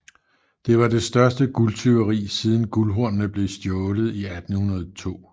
Det var det største guldtyveri siden Guldhornene blev stjålet i 1802